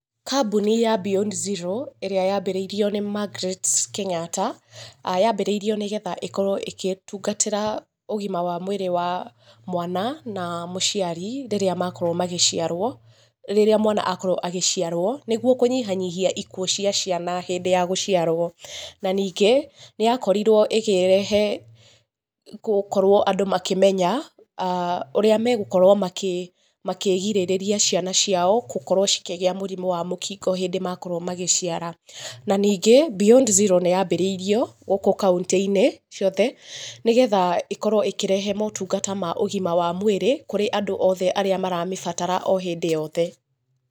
Kambuni ya Beyond Zero, ĩrĩa yambĩrĩirio nĩ Margeret Kenyatta, aah yambĩrĩirio nĩgetha ĩkorũo ĩgĩtungatĩra ũgima wa mwĩrĩ wa mwana na mũciari, rĩrĩa makorwo magĩciarwo, rĩrĩa mwana akorwo agĩciarwo, nĩguo kũnyihanyihia ikuũ cia ciana hĩndĩ ya gũciarwo, na ningĩ, nĩyakorirwo ĩkĩrehe gũkorwo andũ makĩmenya, aah ũrĩa megũkorwo makĩ, makĩgirĩrĩria ciana ciao gũkorwo cikĩgĩa mũrimũ wa mũkingo hĩndĩ makorwo magĩciara. Na ningĩ, Beyond Zero nĩyambĩrĩirio gũkũ kauntĩ-inĩ ciothe, nĩgetha ĩkorwo ĩkĩrehe motungata ma ũgima wa mwĩrĩ, kũrĩ andũ othe arĩa maramĩbatara o hĩndĩ yothe.